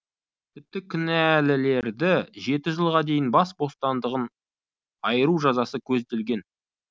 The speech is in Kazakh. тіпті кінәлілерді жеті жылға дейін бас бостандығын айыру жазасы көзделген